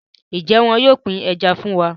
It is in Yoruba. Njé wón yóò pin Ẹja fún wá?